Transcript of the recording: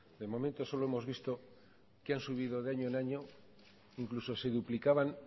de momento solo hemos visto que han subido de año en año incluso se duplicaban